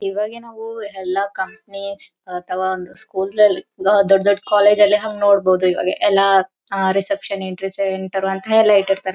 ಇವಾಗ ನಾವು ಎಲ್ಲ ಕಂಪೆನಿಸ್ ಅಥವಾ ಒಂದು ಸ್ಕೂಲ್ ಲ್ಲಿ ಹಾ ದೊಡ್ ದೊಡ್ಡ ಕಾಲೇಜ್ ಲ್ಲಿ ಹಂಗ್ ನೋಡಬೋದು ಇವಾಗ ಎಲ್ಲ ಹ ರಿಸೆಪ್ಶನ್ ಎಂಟ್ರೀಸ್ ಎಂಟರ್ ಅಂತ ಎಲ್ಲ ಇಟ್ಟಿರ್ತಾರೆ.